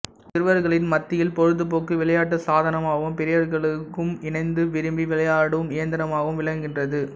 சிறுவர்களின் மத்தியில் பொழுது போக்கு விளையாட்டு சாதனமாகவும் பெரியவர்களும் இணைந்து விரும்பி விளையாடும் இயந்திரமாகவும் விளங்குகின்றது